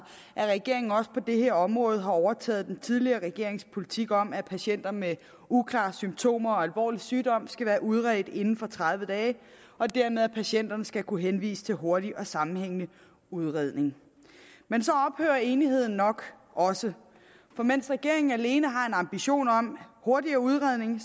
at regeringen også på dette område har overtaget den tidligere regerings politik om at patienter med uklare symptomer og alvorlig sygdom skal være udredt inden for tredive dage og dermed at patienterne skal kunne henvises til hurtig og sammenhængende udredning men så ophører enigheden nok også for mens regeringen alene har en ambition om hurtigere udredning